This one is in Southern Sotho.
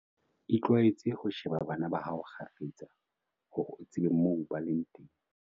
Itlwaetse ho sheba bana ba hao kgafetsa, hore o tsebe moo ba leng teng.